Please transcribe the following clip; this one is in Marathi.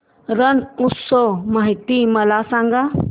रण उत्सव माहिती मला सांग